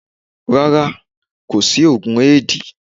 Rárá, kò sí oògùn éèdì.